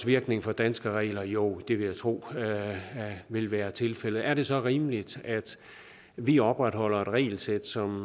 virkning for danske regler jo det vil jeg tro vil være tilfældet er det så rimeligt at vi opretholder et regelsæt som